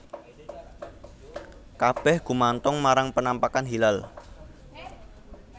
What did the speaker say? Kabèh gumantung marang penampakan hilal